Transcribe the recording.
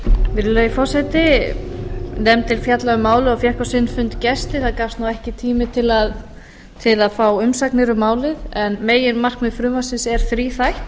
virðulegi forseti nefndin fjallaði um málið og fékk á sinn fund gesti það gafst ekki tími til að fá umsagnir um málið en meginmarkmið frumvarpsins er þríþætt